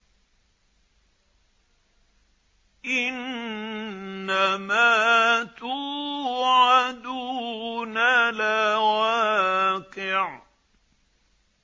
إِنَّمَا تُوعَدُونَ لَوَاقِعٌ